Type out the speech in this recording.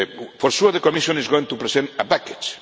For sure, the Commission is going to present a package.